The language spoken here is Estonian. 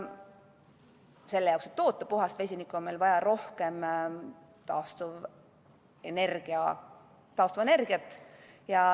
Selle jaoks, et toota puhast vesinikku, on meil vaja rohkem taastuvenergiat.